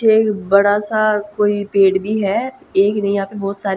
एक बड़ा सा कोई पेड़ भी है एक नहीं यहां पे बहोत सारे--